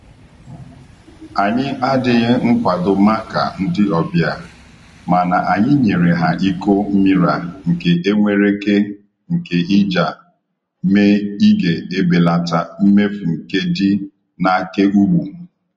Ànyị́ àdíghí nkwádó mákà ndí ọ́bịà, máná ànyị́ nyéré há íkó mmírá nké énwéréké nké íjá mé ígè ébélátá mméfú nkédí n’ákéúgbù.